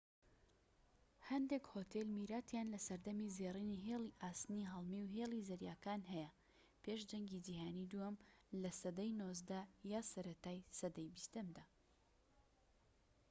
هەندێک هۆتێل میراتیان لە سەردەمی زێڕینی هێڵی ئاسنی هەڵمی و هێڵی زەریاکان هەیە پێش جەنگی جیهانی دووەم لە سەدەی 19 یان سەرەتای سەدەی 20یەمدا